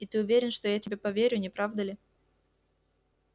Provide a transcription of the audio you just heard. и ты уверен что я тебе поверю не правда ли